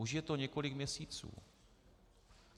Už je to několik měsíců.